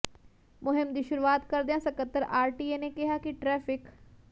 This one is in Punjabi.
ਮੁਹਿੰਮ ਦੀ ਸ਼ੁਰੂਆਤ ਕਰਦਿਆਂ ਸਕੱਤਰ ਆਰਟੀਏ ਨੇ ਕਿਹਾ ਕਿ ਟੈ੍ਫਿਕ